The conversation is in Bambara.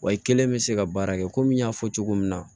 Wa i kelen bɛ se ka baara kɛ komi n y'a fɔ cogo min na